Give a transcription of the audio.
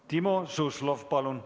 Timo Suslov, palun!